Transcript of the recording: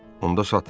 Onda satın.